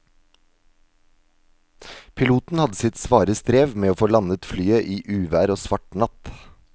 Piloten hadde sitt svare strev med å få landet flyet i uvær og svart natt.